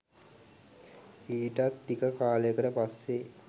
ඊටත් ටික කාලෙකට පස්සෙ